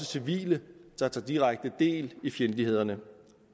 civile der tager direkte del i fjendtlighederne